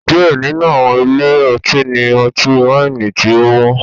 Diẹ ninu awọn ile-ọti ni ọti-waini tí ọ wọn